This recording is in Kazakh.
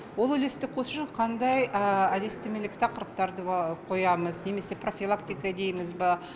ол үлесті қосу үшін қандай әдістемелік тақырыптарды қоямыз немесе профилактика дейміз ба